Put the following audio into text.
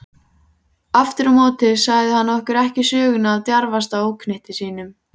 Afturámóti sagði hann okkur ekki söguna af djarfasta óknytti sínum.